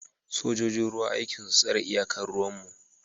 Sojojin ruwa aikin su tsare iyakar ruwan mu